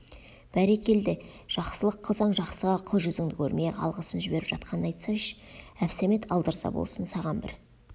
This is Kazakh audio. бәрекелде жақсылық қылсаң жақсыға қыл жүзіңді көрмей-ақ алғысын жіберіп жатқанын айтсайшы әбсәмет алдырза болсын саған бір